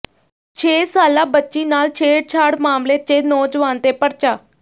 ਛੇ ਸਾਲਾ ਬੱਚੀ ਨਾਲ ਛੇੜਛਾੜ ਮਾਮਲੇ ਚ ਨੌਜਵਾਨ ਤੇ ਪਰਚਾ